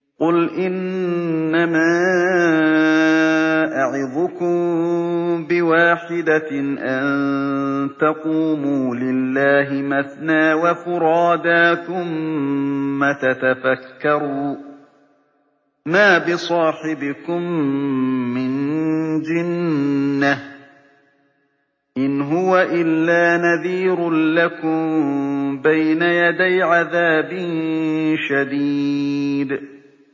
۞ قُلْ إِنَّمَا أَعِظُكُم بِوَاحِدَةٍ ۖ أَن تَقُومُوا لِلَّهِ مَثْنَىٰ وَفُرَادَىٰ ثُمَّ تَتَفَكَّرُوا ۚ مَا بِصَاحِبِكُم مِّن جِنَّةٍ ۚ إِنْ هُوَ إِلَّا نَذِيرٌ لَّكُم بَيْنَ يَدَيْ عَذَابٍ شَدِيدٍ